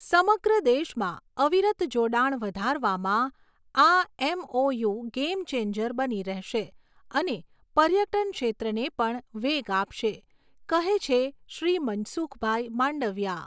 સમગ્ર દેશમાં અવિરત જોડાણ વધારવામાં આ એમઓયુ ગૅમ ચૅન્જર બની રહેશે અને પર્યટન ક્ષેત્રને પણ વેગ આપશે, કહે છે શ્રી મનસુખભાઈ માંડવિયા.